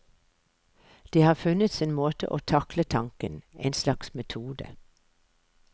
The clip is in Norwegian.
De har funnet sin måte å takle tanken, en slags metode.